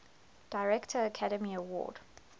director academy award